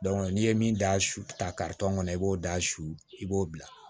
n'i ye min d'a kan kɔnɔ i b'o da su i b'o bila